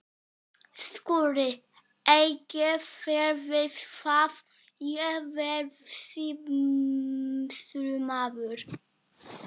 SKÚLI: Eigið þér við hvar ég verði sýslumaður?